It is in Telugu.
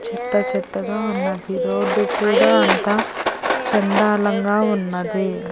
చెత్త చెత్తగా ఉన్నది రోడ్డు కూడా అంతా చండాలంగా ఉన్నది.